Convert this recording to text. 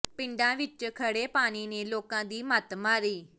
ਪਿੰਡਾਂ ਵਿੱਚ ਖੜ੍ਹੇ ਪਾਣੀ ਨੇ ਲੋਕਾਂ ਦੀ ਮੱਤ ਮਾਰੀ